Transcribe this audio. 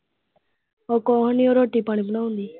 ਉਹ ਕੋਲ ਨੇ ਰੋਟੀ ਪਾਣੀ ਬਣਾਉਦੇ ਨੇ।